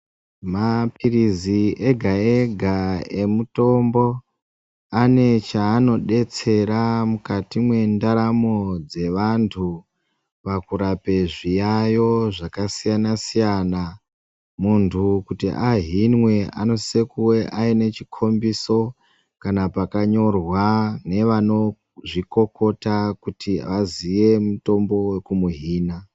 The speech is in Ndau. Maphirizi ega ega emutombo ane chaanodetsera mwukati mwendaramo dzevantu pakurape zviyayo zvakasiyana siyana Muntu kuti ahinwe anosise kuve aine chikombiso kana pakanyorwa nevanozvikokota kuti aziye mutombo wekumuhina.